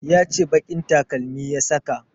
Ya ce baƙin takalmi ya saka